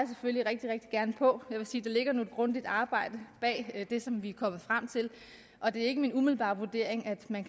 selvfølgelig rigtig rigtig gerne på jeg vil sige der ligger et grundigt arbejde bag det som vi er kommet frem til og det er ikke min umiddelbare vurdering at man